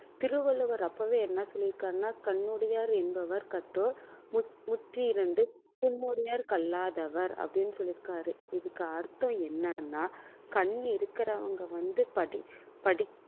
திருவள்ளுவர் அப்பவே என்ன சொல்லிருக்காருன்னா கண்ணுடையார் என்பவர் கற்றோர் முகத்திரண்டு கல்லாதவர் அப்படின்னு சொல்லி இருக்காரு இதுக்கு அர்த்தம் என்னன்னா கண் இருக்கிறவங்க வந்து படி~ படி